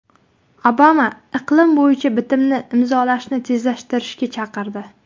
Obama iqlim bo‘yicha bitimni imzolashni tezlashtirishga chaqirdi.